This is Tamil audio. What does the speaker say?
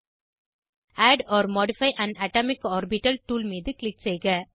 add or modify an atomic orbital tool மீது க்ளிக் செய்க